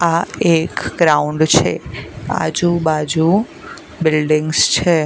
આ એક ગ્રાઉન્ડ છે આજુ બાજુ બિલ્ડિંગ્સ છે.